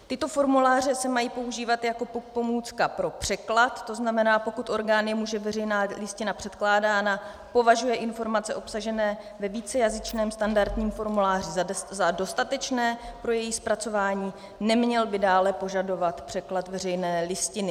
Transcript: Tyto formuláře se mají používat jako pomůcka pro překlad, to znamená, pokud orgán, jemuž je veřejná listina předkládána, považuje informace obsažené ve vícejazyčném standardním formuláři za dostatečné pro její zpracování, neměl by dále požadovat překlad veřejné listiny.